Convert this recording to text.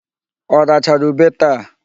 Ọ rachara ube taa?